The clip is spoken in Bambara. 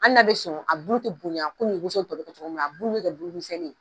Ali n'a bɛ a bulu tɛ bonya komi woso bɛ kɛ cogo min na a bulu bɛ kɛ bulumisɛnnin ye.